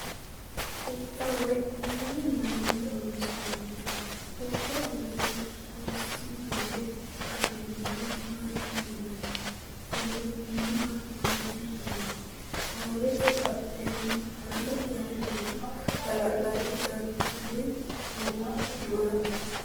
Huxxa woy hoowe maayinni loonsoonnite? Huxxu aana hossi yee qasaminoha maati yinanni? Xuruuraminoha maati yinanni? Hoowete badheenni haanjire noohu hala'ladu darchihu woy hogihu maati?